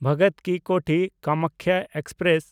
ᱵᱷᱚᱜᱚᱛ ᱠᱤ ᱠᱳᱴᱷᱤ–ᱠᱟᱢᱟᱠᱠᱷᱟ ᱮᱠᱥᱯᱨᱮᱥ